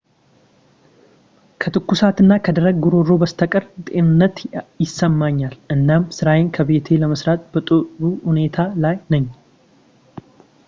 ከትኩሳቱ እና ከደረቅ ጉሮሮ በስተቀር ጤንነት ይሰማኛል እናም ስራዬን ከቤቴ ለመስራት በጥሩ ሁኔታ ላይ ነኝ